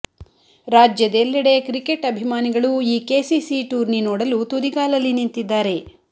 ರಾಜ್ಯದೆಲ್ಲೆಡೆ ಕ್ರಿಕೆಟ್ ಅಭಿಮಾನಿಗಳು ಈ ಕೆಸಿಸಿ ಟೂರ್ನಿ ನೋಡಲು ತುದಿಗಾಲಲ್ಲಿ ನಿಂತಿದ್ದಾರೆ